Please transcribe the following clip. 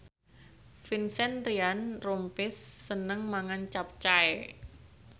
Vincent Ryan Rompies seneng mangan capcay